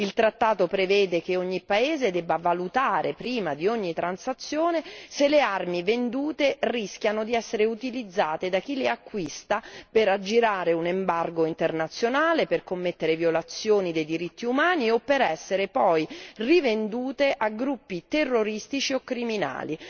Il trattato prevede che ogni paese debba valutare, prima di ogni transazione, se le armi vendute rischiano di essere utilizzate da chi le acquista per aggirare un embargo internazionale, per commettere violazioni dei diritti umani o per essere poi rivendute a gruppi terroristici o criminali.